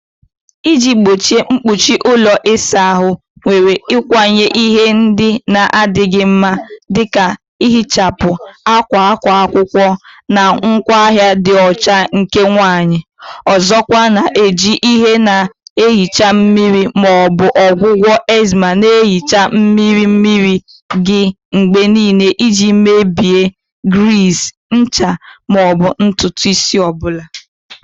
Iji gbochie mkpuchi ụlọ ịsa ahụ, zere ịkwanye ihe ndị na-adịghị mma dị ka nhichapụ, akwa akwa akwụkwọ, na ngwaahịa ịdị ọcha nke nwanyị. Ọzọkwa, na-eji ihe na-ehicha mmiri ma ọ bụ ọgwụgwọ enzyme na-ehicha mmiri mmiri gị mgbe niile iji mebie griiz, ncha, ma ọ bụ ntutu isi ọ bụla.